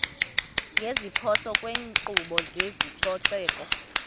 ngeziphoso kwinkqubo yezococeko